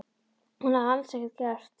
Og hún hafði alls ekkert gert.